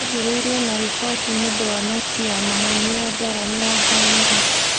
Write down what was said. Yanjĩrĩirie na riboti nĩũndũ wa noti ya maheeni ya Dora mĩrongo ĩrĩ.